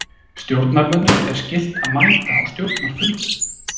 Stjórnarmönnum er skylt að mæta á stjórnarfundum.